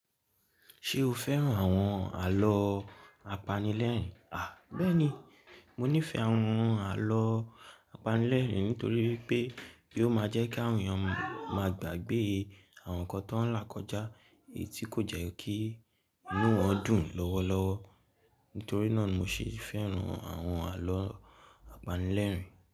Ṣé o fẹ́ràn àwọn àlọ́ apanilẹ́rìín? À, bẹ́ẹ̀ni, mo nífẹ̀ẹ́ àwọn àlọ́ apanilẹ́rìín nítorí wípé kí ó máa jẹ́ kí àwọn èèyàn máa gbàgbé àwọn nǹkan t'ọ́n ń là kọjá èyí tí kò jẹ́ kí inú wọn dùn lọ́wọ́lọ́wọ́. Nítorí náà mo ṣe fẹ́ràn àwọn àlọ́ apanilẹ́rìín.